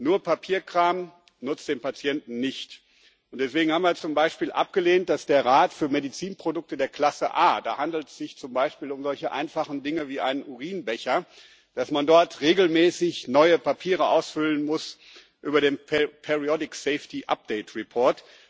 Nur Papierkram nutzt dem Patienten nicht, und deswegen haben wir zum Beispiel abgelehnt, dass der Rat für Medizinprodukte der Klasse A da handelt es sich zum Beispiel um solche einfachen Dinge wie einen Urinbecher vorgeschrieben hat, dass man dort regelmäßig neue Papiere ausfüllen muss über den periodic safety update report